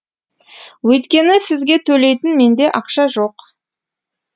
өйткені сізге төлейтін менде ақша жоқ